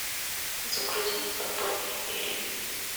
загрузи подпольная империя